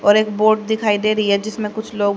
और एक बोर्ड दिखाई दे रही है जिसमें कुछ लोग--